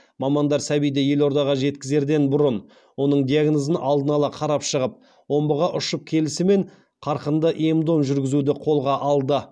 мамандар сәбиді елордаға жеткізерден бұрын оның диагнозын алдын ала қарап шығып омбыға үшып келісімен қарқынды ем дом жүргізуді қолға алды